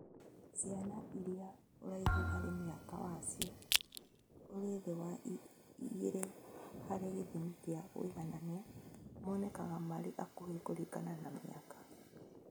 Ciana iria Ũraihu harĩ mĩaka wacio ũrĩ thĩ wa igĩrĩ harĩ gĩthimi kĩa ũiganania monekaga marĩ akuhĩ kũringana na mĩaka